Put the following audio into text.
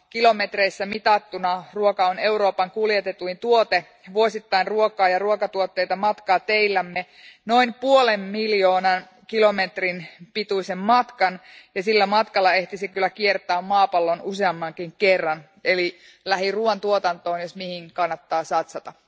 Kilometreissä mitattuna ruoka on Euroopan kuljetetuin tuote vuosittain ruokaa ja ruokatuotteita matkaa teillämme noin puolen miljoonan kilometrin pituisen matkan. Sillä matkalla ehtisi kyllä kiertää maapallon useammankin kerran, eli lähiruoan tuotantoon, jos mihin, kannattaa satsata.